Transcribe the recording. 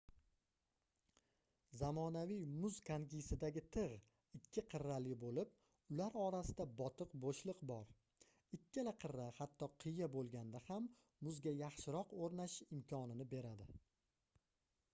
zamonaviy muz konkisidagi tigʻ ikki qirrali boʻlib ular orasida botiq boʻshliq bor ikkala qirra hatto qiya boʻlganda ham muzga yaxshiroq oʻrnashish imkonini beradi